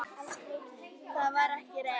Það var ekki reynt.